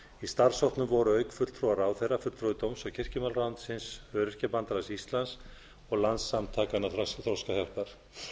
í starfshópnum voru auk fulltrúa ráðherra fulltrúi dóms og kirkjumálaráðuneytisins öryrkjabandalags íslands og landssamtakanna þroskahjálpar